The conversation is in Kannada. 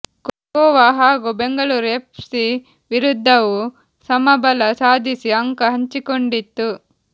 ಗೋವಾ ಹಾಗೂ ಬೆಂಗಳೂರು ಎಫ್ ಸಿ ವಿರುದ್ಧವೂ ಸಮಬಲ ಸಾಧಿಸಿ ಅಂಕ ಹಂಚಿಕೊಂಡಿತ್ತು